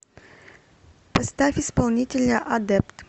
поставь исполнителя адепт